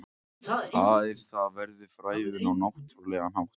Aðeins þar verður frævun á náttúrlegan hátt.